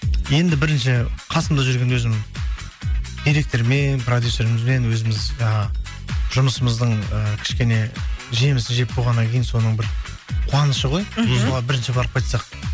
енді бірінші қасымда жүрген өзім директормен продюсерімізбен өзіміз жаңағы жұмысымыздың і кішкене жемісін жеп болғаннан кейін соның бір қуанышы ғой мхм солар бірінші барып қайтсақ